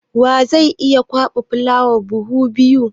Wa zai iya kwaɓa fulawa buhu biyu?